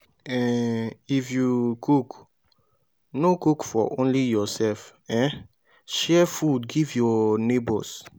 um if you if you cook no cook for only yourself um share food give your neighbours